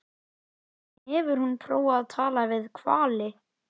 En hefur hún prófað að tala við hvali?